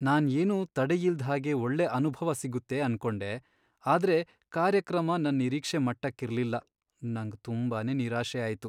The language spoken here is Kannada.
ನಾನ್ ಏನೂ ತಡೆಯಿಲ್ದ್ಹಾಗೆ ಒಳ್ಳೆ ಅನುಭವ ಸಿಗುತ್ತೆ ಅನ್ಕೊಂಡೆ, ಆದ್ರೆ ಕಾರ್ಯಕ್ರಮ ನನ್ ನಿರೀಕ್ಷೆ ಮಟ್ಟಕ್ಕಿರ್ಲಿಲ್ಲ, ನಂಗ್ ತುಂಬಾನೇ ನಿರಾಶೆ ಆಯ್ತು.